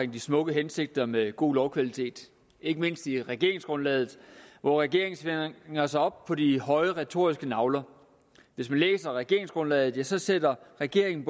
de smukke hensigter med god lovkvalitet ikke mindst i regeringsgrundlaget hvor regeringen svinger sig op på de høje retoriske nagler hvis man læser regeringsgrundlaget kan så sætter regeringen